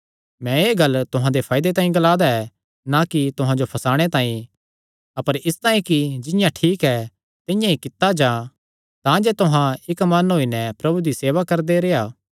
मैं एह़ गल्ल तुहां दे फायदे तांई ग्लांदा ऐ ना कि तुहां जो फसाणे तांई अपर इसतांई कि जिंआं ठीक ऐ तिंआं ई कित्ता जां तांजे तुहां इक्क मन होई नैं प्रभु दी सेवा करदे रेह्आ